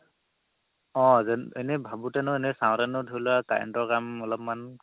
অ এনে ভাবোতে ন এনে চাওতে ন এনে ধৰি লোৱা current ৰ কাল অলপমান